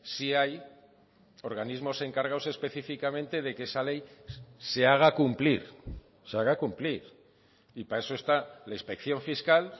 sí hay organismos encargados específicamente de que esa ley se haga cumplir se haga cumplir y para eso está la inspección fiscal